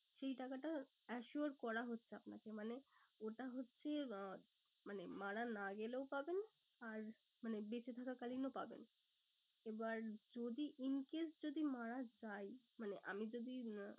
সেই টাকাটা assure করা হচ্ছে আপনাকে মানে ওটা হচ্ছে আহ মানে মারা না গেলেও পাবেন। আর মানে বেঁচে থাকা কালীনও পাবেন। এবার যদি in case যদি মারা যাই মানে আমি যদি উম